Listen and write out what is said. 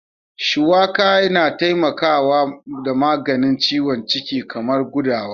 Suwaka na taimaka da maganin ciwon ciki kaman gudawa.